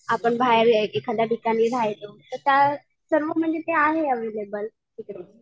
आपण बहर एखाद्या ठिकाणी राहिलो तर त्या सर्व म्हणजे आहे अवैलेबल तिकडे.